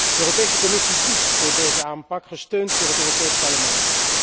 De Europese Commissie kiest voor deze aanpak, gesteund door het Europees Parlement.